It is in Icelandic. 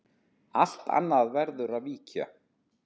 Allt annað verður að víkja.